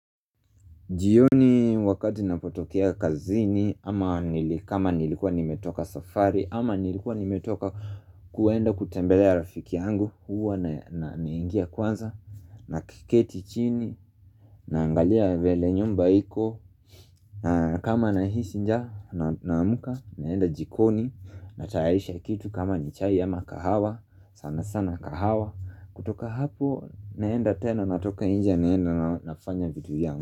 Jioni wakati napotokea kazini, ama nili kama nimetoka safari, ama nilikua nimetoka kuenda kutembelea rafiki yangu, huwa naya naingia kwanza, na kiketi chini, naangalia vele nyumba iko, na kama nahisi njaa naamka, naenda jikoni, natayarisha kitu kama ni chai ama kahawa, sana sana kahawa, kutoka hapo, naenda tena, natoka nje, naenda nafanya vitu zangu.